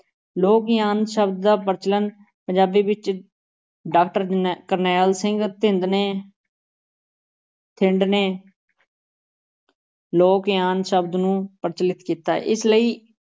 ਲੋਕ-ਯਾਨ ਸ਼ਬਦ ਦਾ ਪ੍ਰਚਲਨ ਪੰਜਾਬੀ ਵਿਚ ਡਾਕਟਰ ਨੈ ਕਰਨੈਲ ਸਿੰਘ ਥਿੰਦ ਨੇ ਥਿੰਦ ਨੇ ਲੋਕ-ਯਾਨ ਸ਼ਬਦ ਨੂੰ ਪ੍ਰਚਲਿਤ ਕੀਤਾ, ਇਸ ਲਈ